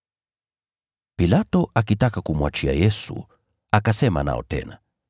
Pilato, akitaka kumwachia Yesu, akasema nao tena.